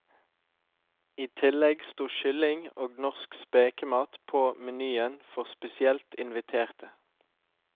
I tillegg sto kylling og norsk spekemat på menyen for spesielt inviterte.